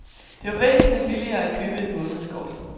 Det var væsentligt billigere at købe et månedskort.